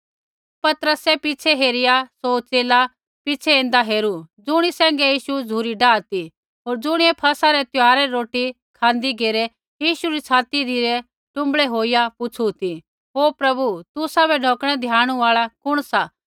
पतरसै पिछ़ै हेरिया सौ च़ेला पिछ़ै ऐन्दा हेरू ज़ुणी सैंघै यीशु झ़ुरी डाआ ती होर ज़ुणियै फसह रै त्यौहारा री रोटी खाँदी घेरै यीशु री छाती धिरै टुँबड़ै होईया पुछ़ु ती ओ प्रभु तुसाबै ढौकणै धियाणु आल़ा कुण सा